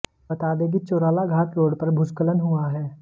बता दें कि चोराला घाट रोड पर भूस्खलन हुआ है